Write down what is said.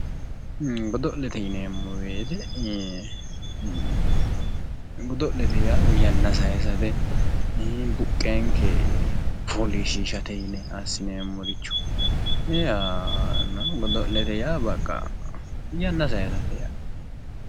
Godo'lete yineemmo woyiite godo'lete yaaa woyi yanna sayiisate buqqeenke fooliishshiishate yine assineemmoricho godo'lete yaa baqqa yanna sayiisate yaate